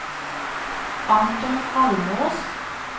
Anton Almås